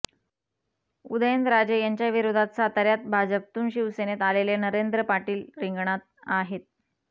उदयनराजे यांच्याविरोधात साताऱ्यात भाजपतून शिवसेनेत आलेले नरेंद्र पाटील रिंगणात आहेत